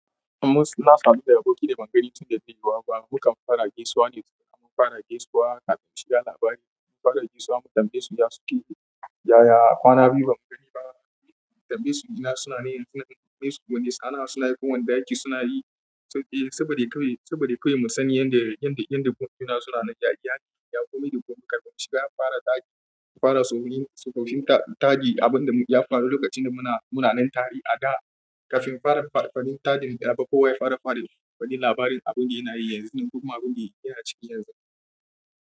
Mu suna sanin yadda aboki da ba mu gani tun da ta yiwa ba. Mukan fara gaisuwa ne da mun fara gaisuwa, kafin mushi labari. In mun fara gaisuwa, mu tambaye su ya suke. Yaya, kwanan biyu ba mu gani ba. Mu tambayi su gina suna ne, suna yin wani sa'a suna yin ko wanda aiki suna yi. To, eh, saboda kawai, saboda kawai mu sani yadda, yadda, yadda gumtuna suna nan. Yaya, yaya, kome da kome shiga ya fara ɗaki, ya fara saurayin saurayin taɗi abin da ya faru lokacin da muna, muna nan tare a da. Kafin fara faɗin taɗi, da babba kuwa ya fara faɗi faɗin labarin abun da yana yi yanzu, kuma abin da yana cikin yanzu.